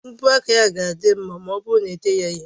mbọ aka ya ga-adị mma ma ọ bụrụ na ete ya ihe